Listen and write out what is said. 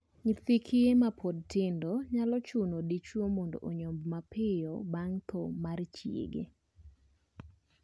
Nyithi kiye mapod tindo nyalo chuno dichwo mondo onyombi mapiyo bang' thoo mar chiege.